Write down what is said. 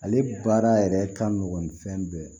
Ale baara yɛrɛ ka nɔgɔ ni fɛn bɛɛ ye